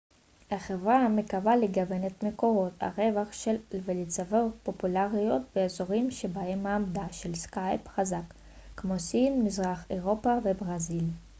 החברה מקווה לגוון את מקורות הרווח שלה ולצבור פופולריות באזורים שבהם מעמדה של סקייפ חזק כמו סין מזרח אירופה וברזיל